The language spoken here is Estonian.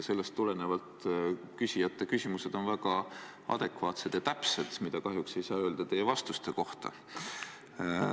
Sellest tulenevalt on küsijate küsimused väga adekvaatsed ja täpsed, mida kahjuks ei saa öelda teie vastuste kohta.